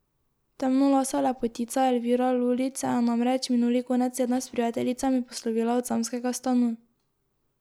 Temnolasa lepotica Elvira Lulić se je namreč minuli konec tedna s prijateljicami poslovila od samskega stanu.